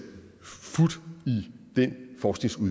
fut i den forskning